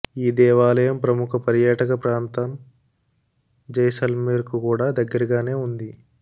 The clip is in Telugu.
ఈ దేవాలయం ప్రముఖ పర్యాటక ప్రాంతం జైసల్మేర్ కు కూడా దగ్గరగానే ఉంది